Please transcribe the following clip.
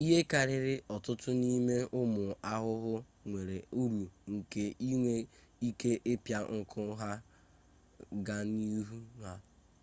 ihe karịrị ọtụtụ n'ime ụmụ ahụhụ nwere uru nke inwe ike ịpịa nku ha gaa n'ahụ ha